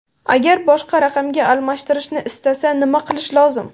Agar boshqa raqamga almashtirishni istasa, nima qilish lozim?